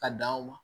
Ka dan o ma